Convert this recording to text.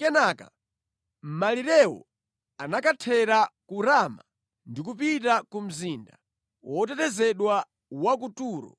Kenaka malirewo anakhotera ku Rama ndi kupita ku mzinda wotetezedwa wa ku Turo.